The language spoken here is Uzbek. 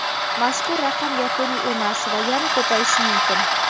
Mazkur raqam yakuniy emas va yana ko‘payishi mumkin.